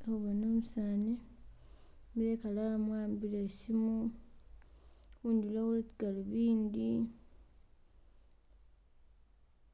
Khe Khubona umusani a'ambile ikhalamu wahambile isimu khundulo waliwo galobindi